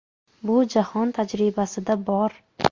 Bu jahon tajribasida bor.